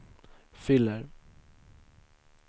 fyller